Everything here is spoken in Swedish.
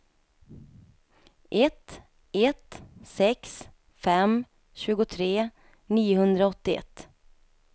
ett ett sex fem tjugotre niohundraåttioett